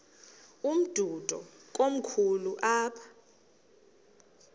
umdudo komkhulu apha